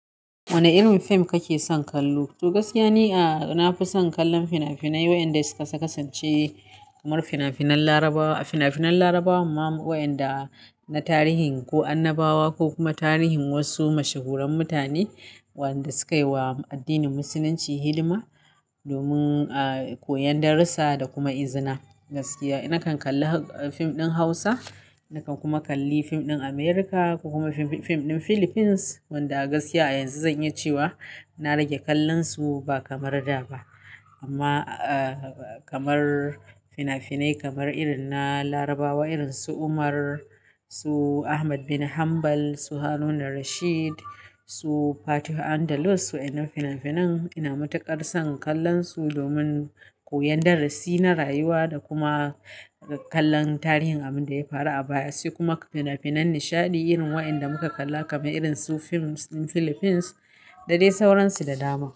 Wane irin fim kake son kallo? Gaskiya ni, a na fi son kallon fina-finai wayanda suka kasasance kamar fina-finan Larabawa, fina-finan Larabawan ma-- wayanda na tarihin ko annabawa ko kuma tarihin wasu mashahuran mutane waɗanda suka yi wa addinin Musulunci hidima domin, a, koyon darussa da kuma izina. Gaskiya, na kan kalli fim ɗin Hausa, na kan kuma kalli fim ɗin Amurka ko kuma fim ɗin Philippines wanda gaskiya yanzu zan yi cewa na rage kallonsu ba kamar da ba. Amma, a, kamar fina-finai kamar irin na Larabawa irin su Umar, su Ahmad bin Hanbal, su Haruna Rashid, su Fatih Andelus, wa inan fina-finan ina matuƙar son kallonsu domin koyon darasi na rayuwa da kuma kallon tarihin abin da ya faru a baya, sai kuma fina-finan nishaɗi irin waɗanda muka kalla kamar irin su fim ɗin Philippines da dai sauransu da dama.